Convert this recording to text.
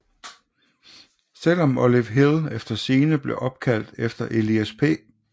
Selv om Olive Hill efter sigende blev opkaldt af Elias P